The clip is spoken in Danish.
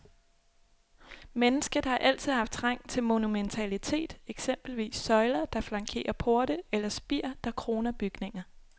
Mennesket har altid haft trang til monumentalitet, eksempelvis søjler, der flankerer porte, eller spir, der kroner bygninger.